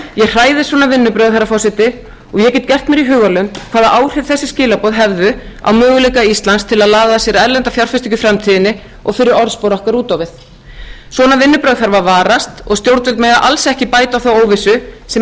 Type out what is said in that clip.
hræðist svona vinnubrögð herra forseti og ég get gert mér í hugarlund hvaða áhrif þessi skilaboð hefðu á möguleika íslands til að laða að sér erlenda fjárfestingu í framtíðinni og fyrir orðspor okkar út á við svona vinnubrögð þarf að varast og stjórnvöld mega alls ekki bæta á þá óvissu sem